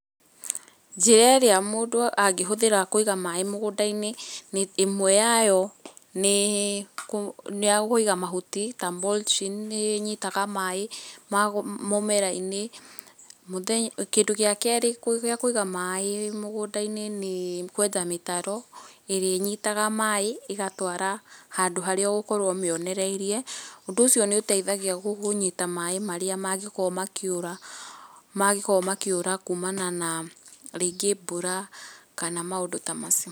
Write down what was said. Njĩra ĩrĩa mũndũ angĩhũthĩra kũiga maĩ mũgũndainĩ ĩmwe yayo nĩ nĩakũiga mahuti ta mulching nĩnyitaga maĩ mũmerainĩ, kĩndũ gĩa kerĩ gĩa kũiga maĩ mũgũndainĩ nĩ kwenja mĩtaro ĩrĩa ĩnyitaga maĩ ĩgatwara handũ harĩa ũgũkorwa ũmĩonereirie ũndũ ũcio nĩ ũteithagia kũnyita maĩ marĩa makĩũra kumana na rĩngĩ mbura kana maũndũ ta macio.